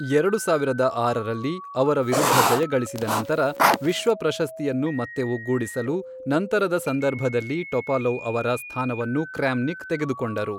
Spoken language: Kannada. ಎರಡು ಸಾವಿರದ ಆರರಲ್ಲಿ, ಅವರ ವಿರುದ್ಧ ಜಯಗಳಿಸಿದ ನಂತರ, ವಿಶ್ವ ಪ್ರಶಸ್ತಿಯನ್ನು ಮತ್ತೆ ಒಗ್ಗೂಡಿಸಲು ನಂತರದ ಸಂದರ್ಭದಲ್ಲಿ ಟೊಪಾಲೋವ್ ಅವರ ಸ್ಥಾನವನ್ನು ಕ್ರ್ಯಾಮ್ನಿಕ್ ತೆಗೆದುಕೊಂಡರು.